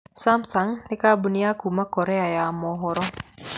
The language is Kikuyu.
Samsung nĩ kambuni ya kuuma Korea ya mũhuro.